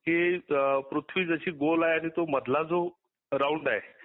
कि पृथ्वी जशी गोल आहे आणि तो मधला जो राऊंड आहे.